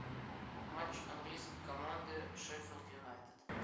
матч английской команды шеффилд юнайтед